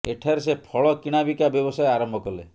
ଏଠାରେ ସେ ଫଳ କିଣା ବିକା ବ୍ୟବସାୟ ଆରମ୍ଭ କଲେ